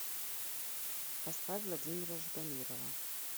поставь владимира ждамирова